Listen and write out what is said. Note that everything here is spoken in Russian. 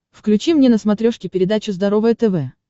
включи мне на смотрешке передачу здоровое тв